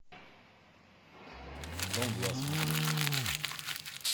дом два смотреть